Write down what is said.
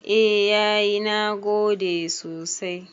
A yayi nagode sosai